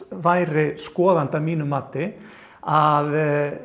væri skoðandi að mínu mati að